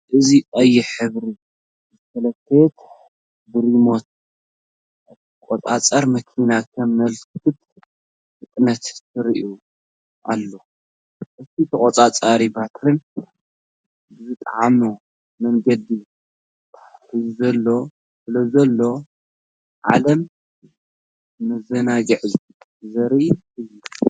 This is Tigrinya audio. እዚ ቀይሕ ሕብሪ ዝተለኽየት ብሪሞት እትቆጻጸር መኪና ከም ምልክት ፍጥነት ትረአ ኣላ። እቲ ተቖጻጻርን ባትሪን ብዝጥዕም መንገዲ ተተሓሒዙሉ ስለዘሎ፡ ዓለም መዘናግዒ ዘርኢ እዩ።